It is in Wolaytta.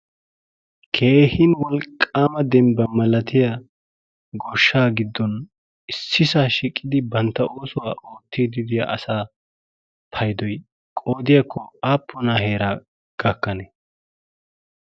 kehin wolqqaama dembba malatiya gorshshaa giddon issisaa shiqidi bantta oosuwaa oottiddiya asaa paydoy qoodiyaakko aappunaa heeraa gakkanee?